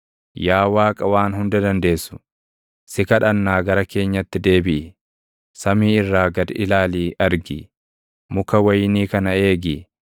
Yaa Waaqa Waan Hunda Dandeessu, // si kadhannaa gara keenyatti deebiʼi! Samii irraa gad ilaalii argi! Muka wayinii kana eegi;